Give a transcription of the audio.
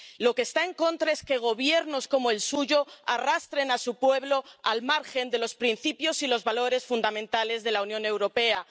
De lo que está en contra es que gobiernos como el suyo arrastren a su pueblo al margen de los principios y los valores fundamentales de la Unión Europea.